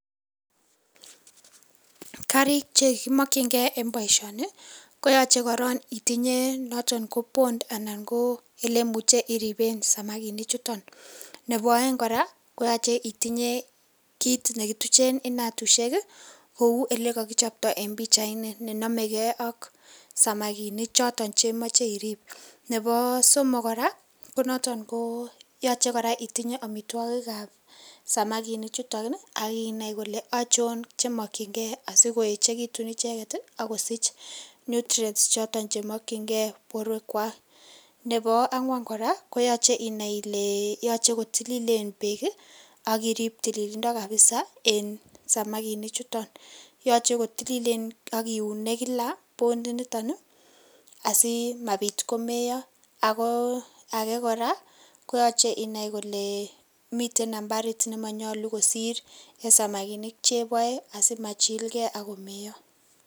Kariik chekimakyigei en boisioni ko yachei korong itinyei korong anan ko Bond ole imuche iripeen samakinik chutoon ,nebo aeng kora koyachei itinyei kit ne kotucheen inatusiek kouu ele ele kakichaptoi en pichait ni ne namegei ak samakinik chotoon che machei iriip ,nebo somok kora ko notoon ko yachei kora itinyei amitwagiik ab samaginik chutoon ii akinai Ile achoon che makyin gei asiko yechegituun ichegeet ii akosiich nutrients chotoon che makyingei boruek kwaak nebo angwaan kora koyachei inai Ile yachei ko tilileen beek ii ak iriip tililindo kabisa en samakinik chutoon yachei kotililien ak kiunee kila Bond initoon ii asimaa Biit komeyaa ako age kora ko yachei inai kole Miiten nambariit nemayachei kosiir en samakinik chebae asimachilgei ako meyaa.